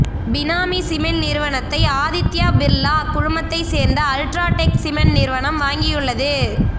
பினாமி cement நிறுவனத்தை ஆதித்யா பிர்லா குழுமத்தை சேர்ந்த அல்ட்ரா டெக் சிமெண்ட் நிறுவனம் வாங்கியுள்ளது